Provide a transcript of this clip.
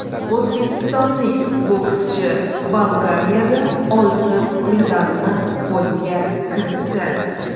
O‘zbekistonlik bokschi Bolgariyada oltin medalni qo‘lga kiritdi.